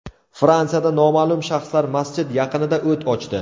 Fransiyada noma’lum shaxslar masjid yaqinida o‘t ochdi.